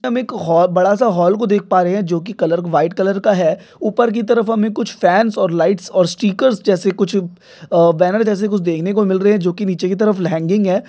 हम एक हॉ- बड़ासा हॉल को देख पा रहे जो की कलर व्हाइट कलर का है ऊपर की तरफ हमे कुछ फॅन्स और लाइट्स और स्टिकर्स जैसे कुछ अह बैनर जैसे देखने को मिल रहे जो की नीचे की तरफ ल्यांगिंग है।